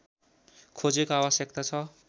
खोजको आवश्यकता छ